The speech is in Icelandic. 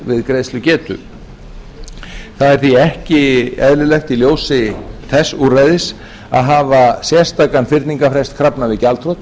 er því ekki eðlilegt í ljósi þess úrræðis að hafa sérstakan fyrningarfrest krafna við gjaldþrot